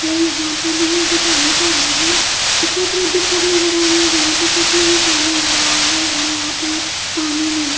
और यहाँ पे भी जो पानी का चालू है दूसरी तरफ भी छत नजर आ रही है जहाँ पे छत में भी पानी आ रहा है और यहाँ पे पानी नीला --